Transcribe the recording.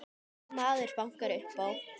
Blár maður bankar upp á